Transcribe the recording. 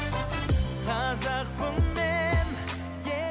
қазақпын мен